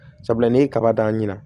Sabula n'i ye kaba dan ɲina